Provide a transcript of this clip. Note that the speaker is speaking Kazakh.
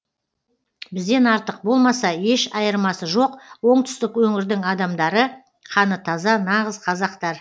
бізден артық болмаса еш айырмасы жоқ оңтүстік өңірдің адамдары қаны таза нағыз қазақтар